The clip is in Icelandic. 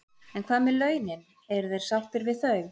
En hvað með launin, eru þeir sáttir við þau?